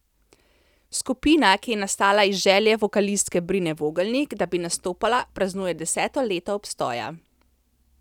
Skupina, ki je nastala iz želje vokalistke Brine Vogelnik, da bi nastopala, praznuje deseto leto obstoja.